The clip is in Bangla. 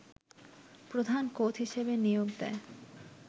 প্রধান কোচ হিসেবে নিয়োগ দেয়